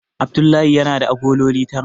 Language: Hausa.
Abdullahi yana da agololi tara.